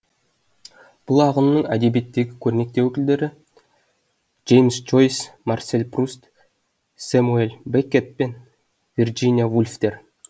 бұл ағынның әдебиеттегі көрнекті өкілдері джеймс джойс марсель пруст сэ мюэл бе ккет пен вирджиния вульфтер